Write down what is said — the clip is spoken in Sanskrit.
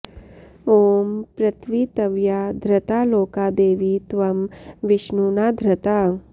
ॐ पृत्वी त्वया धृता लोका देवी त्वं विष्णुना धृता